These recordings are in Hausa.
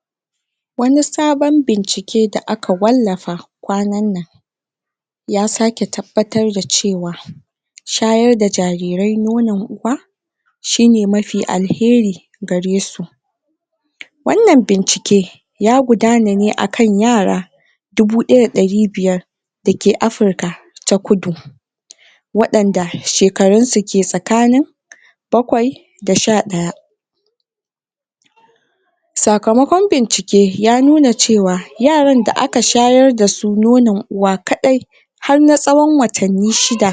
? wani sabon bincike da aka wallafa kwanan nan ya sake tabbatar da cewa shayar da jarirai nonon uwa shine mafi alheri garesu wannan bincike ya gudana ne akan yara dubu daya da dari biyar da ke africa ta kudu? wadanda shekararunsu ke tsakanin bakwai da sha daya sakamakon bincike ya nuna cewa yaran da aka shayar dasu nonon uwa kadai har na tsawon watannin shida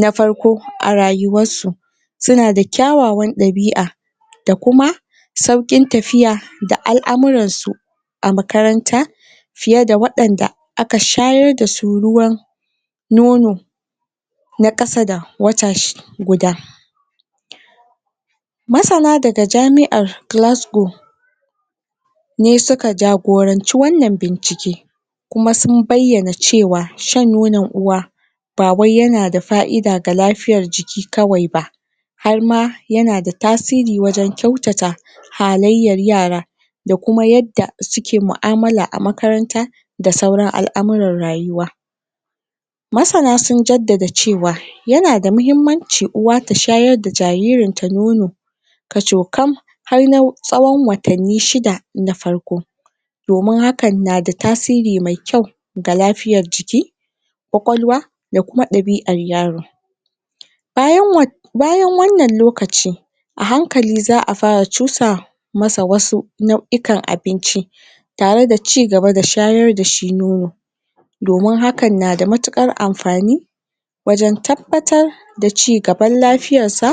na farko a rayuwarsu suna da kyawawan dabi'a da kuma saukin tafiya da al'amuransu a makaranta fiye da wadanda aka shayar dasu ruwan nono na kasa da wata shi guda? masana daga jami'an glassglow ne suka jagoranci wannan bincike kuma sun bayyana cewa shan nono uwa ba wai yana da fa'ida ga lafiyar jiki kawai ba har ma yana da tasiri wajen kyautata halayyar yara da kuma yadda suke mu'amala a makaranta da sauran al'amuran rayuwa masana sun jaddada cewa yana damahimmmanci uwa ta shayar da jaririnta nono kacokan har na tsawon watannin shida na farko domin hakan na da tasiri me kyau ga lafiyar jiki kwakwalwa da kuma dabi'an yaro bayan bayan wannan lokaci a hankali zaa fara cusa masa wasu nau'ikan abinci tare da chigaba da shayar dashi nono domin hakan na da matukar amfani wajen tabbatar da da chigaban lafiyarsa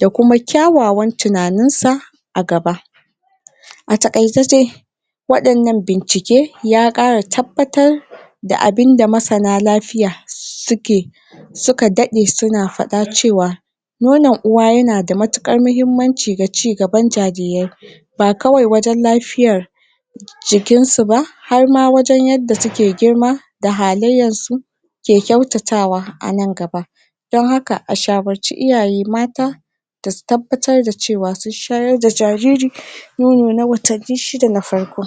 da kuma kyawawan tunaninsa a gaba a takaice dai wadannan bincike ya kara tabbatar da abinda masana lafiya suke suka dade suna fada cewa nonon uwa yana da matukar mahimmancin a chigaban jarirai ba kawai wajen lafiyar jikinsu ba har ma wajen yadda suke girma da halayyarsu ke kyautatawa anan gaba don haka a shawarce iyaye mata da su tabbatar da cewa sun shayar da jariri nono na watanni shida na farko